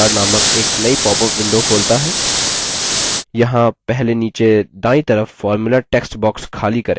यहाँ पहले नीचे दायीं तरफ formula text box खाली करें